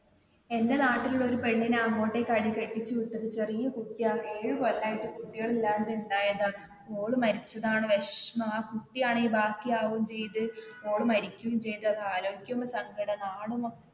എന്റെ നാട്ടിൽ ഉള്ള ഒരു പെണ്ണിനെ അങ്ങോട്ടേക്ക് ആടി കെട്ടിച്ചു വിട്ടത്, ചെറിയ കുട്ടി ആണ് ഏഴു കൊല്ലം ആയിട്ട് കുട്ടികളില്ലാതെ ഇണ്ടായതാണ് മോള് മരിച്ചതാണ് വിഷമം ആ കുട്ടി ആണെങ്കിൽ ബാക്കി ആവുകേം ചെയ്ത് മോള് മരികേം ചെയ്ത് അത് ആലോചിക്കുമ്പോ സങ്കടം ആ നാട് മൊത്തം